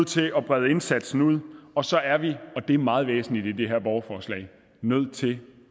til at brede indsatsen ud og så er vi og det er meget væsentligt i det her borgerforslag nødt til